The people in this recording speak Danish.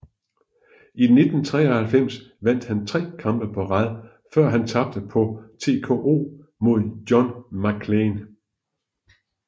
I 1993 vandt han tre kampe på rad før han tabte på TKO mod John McClain